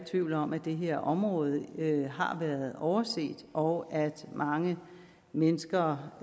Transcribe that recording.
tvivl om at det her område har været overset og at mange mennesker